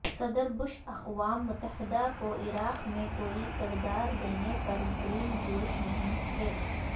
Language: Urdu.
صدر بش اقوام متحدہ کو عراق میں کوئی کردار دینے پر گرن جوش نہیں تھے